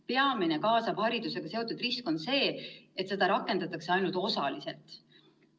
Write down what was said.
Peamine kaasava haridusega seotud risk on see, et seda rakendatakse ainult osaliselt.